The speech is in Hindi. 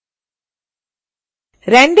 render setting विंडो पर जाएँ